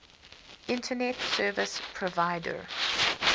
internet service provider